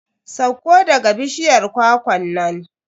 Sauko daga bishiyar kwakwan nan.